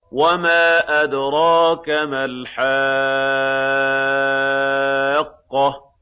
وَمَا أَدْرَاكَ مَا الْحَاقَّةُ